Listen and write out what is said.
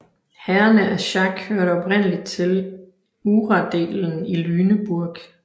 Herrerne af Schack hørte oprindeligt til uradelen i Lüneburg